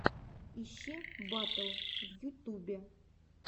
ищи батл в ютубе